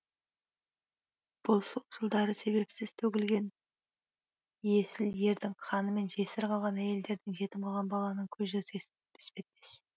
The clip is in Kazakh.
бұл сол жылдары себепсіз төгілген есіл ердің қаны мен жесір қалған әйелдердің жетім қалған баланың көз жасы іспеттес